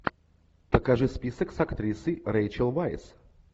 покажи список с актрисой рэйчел вайс